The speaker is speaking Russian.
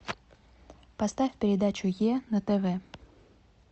поставь передачу е на тв